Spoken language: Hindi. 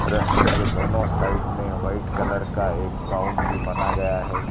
रस्ते के दोनों साइड में वाइट कलर का एक बाउंड्री बना गया है।